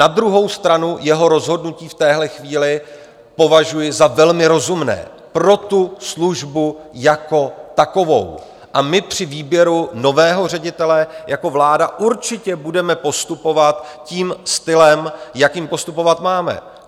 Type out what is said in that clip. Na druhou stranu jeho rozhodnutí v téhle chvíli považuji za velmi rozumné pro tu službu jako takovou a my při výběru nového ředitele jako vláda určitě budeme postupovat tím stylem, jakým postupovat máme.